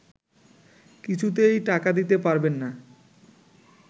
কিছুতেই টাকা দিতে পারবেন না